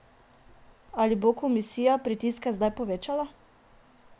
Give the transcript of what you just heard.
Ali bo komisija pritiske zdaj povečala?